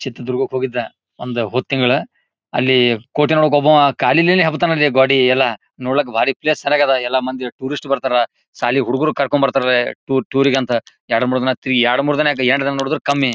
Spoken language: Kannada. ಚಿತ್ರದುರ್ಗಕ್ಕೆ ಹೋಗಿದ್ದೆ ಒಂದ್ ಹೋದ್ ತಿಂಗಳುಅಲ್ಲಿ ಕೋಟೇನೊಳಗ ಒಬ್ಬ ಕಾಲಿಂದನೇ ಹತ್ತಾನೆ ಗೋದಿ ಎಲ್ಲ ನೋಡೋಕ್ ಆಗದ ಎಲ್ಲ ಮಂದಿ ಟೂರಿಸ್ಟ್ ಬರ್ತಾರಾ ಶಾಲಿ ಹುಡುಗ್ರು ಕರ್ಕೊಂನ್ಡ ಬರ್ತಾರಾ ಟೂರಿಗೆ ಅಂತ ಎರಡ್ ಮೂರ್ ದಿನ ಆಯ್ತ್ ಎರಡ್ ಮೂರ್ ದಿನ ನೋಡಿದ್ರು ಕಮ್ಮಿ.